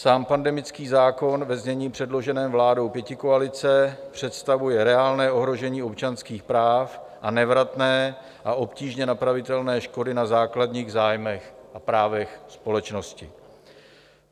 Sám pandemický zákon ve znění předloženém vládou pětikoalice představuje reálné ohrožení občanských práv a nevratné a obtížně napravitelné škody na základních zájmech a právech společnosti.